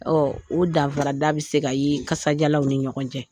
o danfara da bɛ se ka ye kasajalanw ni ɲɔgɔn cɛ.